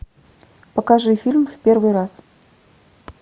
покажи фильм в первый раз